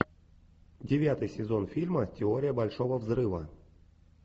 девятый сезон фильма теория большого взрыва